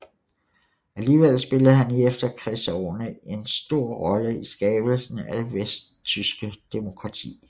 Alligevel spillede han i efterkrigsårene en stor rolle i skabelsen af det vesttyske demokrati